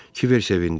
Kibər sevindi.